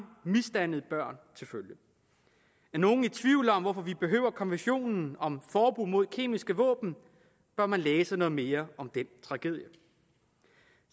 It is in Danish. misdannede børn er nogen i tvivl om hvorfor vi behøver konventionen om forbud mod kemiske våben bør man læse noget mere om den tragedie